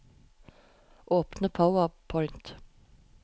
Åpne PowerPoint